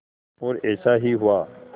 और ऐसा ही हुआ